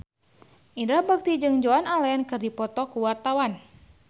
Indra Bekti jeung Joan Allen keur dipoto ku wartawan